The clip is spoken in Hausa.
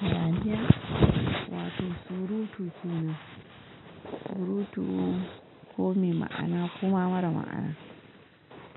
Hayaniya wato surutu ce, surutu ko me ma'ana ko ma mara ma'ana.